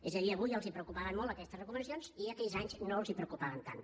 és a dir avui els preocupaven molt aquestes recomanacions i aquells anys no els preocupaven tant